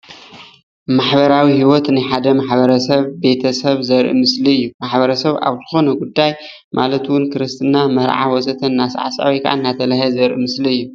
ማሕበራዊ ሂወት ናይ ሓደ ማሕበረ ሰብ ቤተሰብ ዘርኢ ምስሊ እዩ፡፡ ማሕበረ ሰብ ኣብ ዝኮነ ጉዳይ ማለት ክርስትና፣ መርዓ ወዘተ እናሰዕሰዐ ወይ ከዓ እናተላሃየ ዘርኢ ምስሊ እዩ፡፡